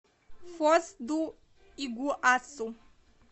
фос ду игуасу